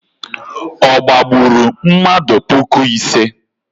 Ọ gbagburu mmadụ puku ise?